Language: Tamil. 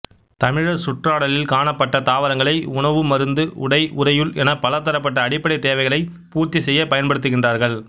தமிழர் சுற்றாடலில் காணப்பட்ட தாவரங்களை உணவு மருந்து உடை உறையுள் என பலதரப்பட்ட அடிப்படைத் தேவைகளை பூர்த்தி செய்ய பயன்படுத்துகின்றார்கள்